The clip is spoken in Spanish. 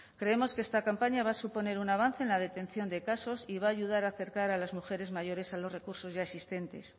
creemos que esta campaña va a suponer un avance en la detección de casos y va a ayudar a acercar a las mujeres mayores a los recursos ya existentes